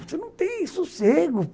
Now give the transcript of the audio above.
Você não tem sossego.